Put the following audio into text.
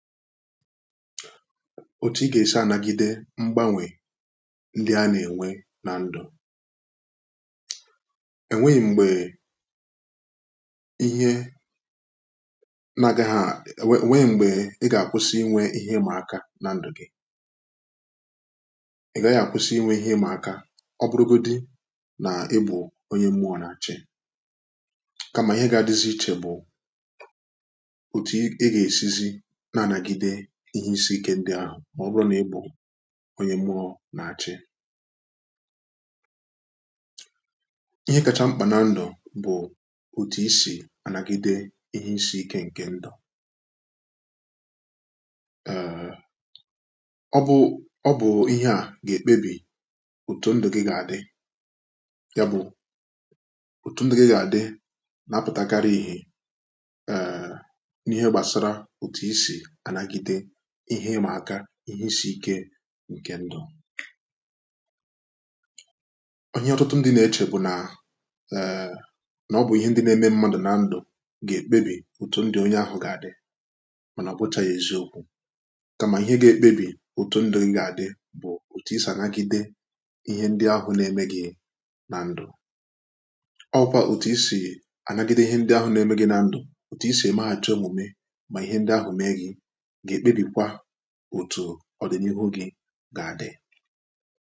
otu ị ga-esi anagide mgbanwè ndị a na-enwe na ndụ enweghị mgbe ihe naghị ha, enweghị mgbe ị ga-akwụsị inwe ihe ịmụaka na ndụghị ị gaghị akwụsị inwe ihe ịmụaka ọ bụrụgodi na ịbụ onye mmụọ na-achị màọbụrụ na ị bụ̀ onye mụọ nà-àchị ihe ịmaka, ihe isiike ǹke ndụ ọ̀hịa ọtụtụ ndị na-echè bụ̀ nà ẹ̀nẹ̀ ọ bụ̀ ihe ndị na-eme mmadụ̀ nà ndụ gà-èkpebì òtù ndị onye ahụ̀ gà-àdị mànà ọ̀bụcha ya eziokwu̇ kàmà ihe ga-ekpebì òtù ndụ ndị à gà-àdị bụ̀ òtù isà nàgide ihe ndị ahụ̀ nà-ẹmẹ gị nà ndụ ọ wụkwa òtù isi ànagide ihe ndị ahụ̀ nà-ẹmẹ gị nà ndụ òtù isì ẹmẹghàcha èmùme mà ihe ndị ahụ̀ mee gị ọ̀dịnihu gị̇ gà-adị̀